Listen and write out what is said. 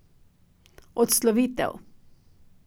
Odslovitev.